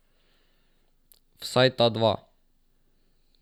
Vsaj ta dva.